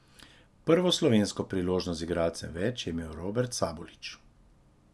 Prvo slovensko priložnost z igralcem več je imel Robert Sabolič.